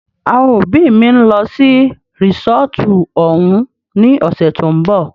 Àwọn òbí mí ń lọ sí resọ́ọ́tu òun ní ọ̀sẹ̀ tó ń bọ̀.